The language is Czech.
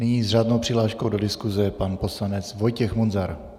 Nyní s řádnou přihláškou do diskuse pan poslanec Vojtěch Munzar.